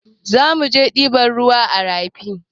Zamuje ɗiban ruwa a rafi